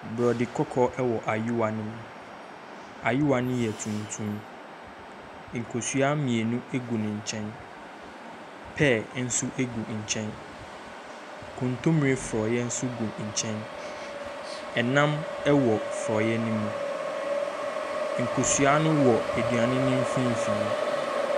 Borɔde kɔkɔɔ wɔ ayowa no mu. Ayowa no yɛ tuntum. Nkosua mmienu gu ne nkyɛn, pɛɛ nso gu nkyɛn. Kontomire frɔeɛ nso gu nkyɛn. ℇnam wɔ frɔeɛ no mu. Nkosua no wɔ aduane no mfimfini.